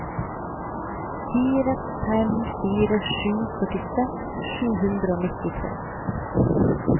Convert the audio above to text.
fire fem fire sju førtiseks sju hundre og nittitre